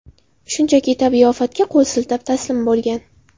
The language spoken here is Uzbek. Shunchaki tabiiy ofatga qo‘l siltab, taslim bo‘lgan.